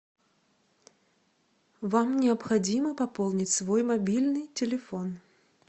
вам необходимо пополнить свой мобильный телефон